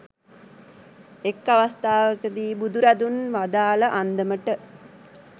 එක් අවස්ථාවක දී බුදුරදුන් වදාළ අන්දමට,